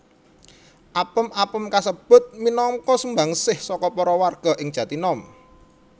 Apem apem kasebut minangka sumbangsih saka para warga ing Jatinom